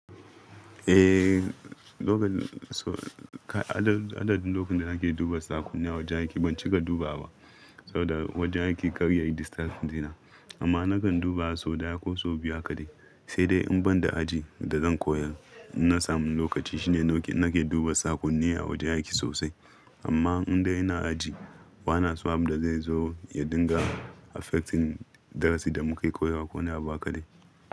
Eh, lokacin so ka adadin, adadin lokacin da nake duba sakonnya a wajen aiki ban cika dubawa. Saboda a wajen aiki karya yi disturb dina. Amma nakan duba sau ɗaya ko sau biyu haka dai. Sai dai in ban da aji da zan koyar, in na samu lokaci shine nake duba sakonni a wajen aiki sosai. Amma in dai ina aji bana so abin da zai zo ya dinga affecting darasin da muke koyarwa ko ne a ba kaɗai.